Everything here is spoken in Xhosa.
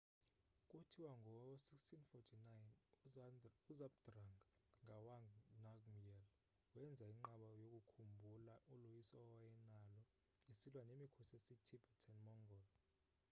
kuthiwa ngo-1649 uzhabdrung ngawang namgyel wenza inqaba yokukhumbula uloyiso awayenalo esilwa nemikhosi yasetibetan-mongol